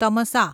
Tamasa